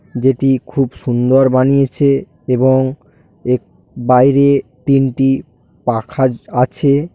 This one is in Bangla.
যেটি খুব সুন্দর বানিয়েছে এবং এক বাইরে তিনটি পাখা আছে।